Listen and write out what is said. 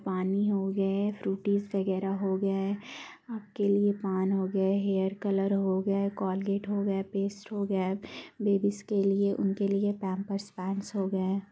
पानी हो गए फ्रुटीस वगेरा हो गया है आपके लिए पान हो गया है हेयर कलर्स हो गए कोलगेट हो गए पेस्ट हो गए बेबीज के लिए उनके लिए पाम्पेर्स पैन्ट्स हो गए ।